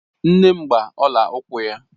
Nne m gba ọla ukwu ya